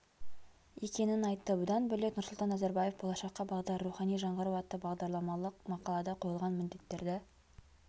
екенін айтты бұдан бөлек нұрсұлтан назарбаев болашаққа бағдар рухани жаңғыру атты бағдарламалық мақалада қойылған міндеттерді